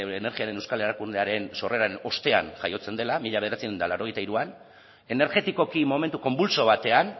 energiaren euskal erakundearen sorreran ostean jaiotzen dela mila bederatziehun eta laurogeita hiruan energetikoki momentu konbultso batean